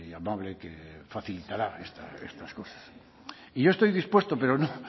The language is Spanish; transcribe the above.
amable que facilitará estas cosas y yo estoy dispuesto pero